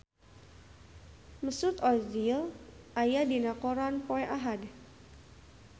Mesut Ozil aya dina koran poe Ahad